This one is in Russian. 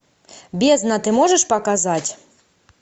бездна ты можешь показать